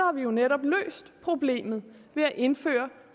har vi jo netop løst problemet ved at indføre